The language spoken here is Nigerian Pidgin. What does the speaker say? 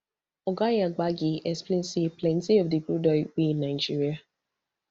oga yabagi explain say plenty of di crude oil wey nigeria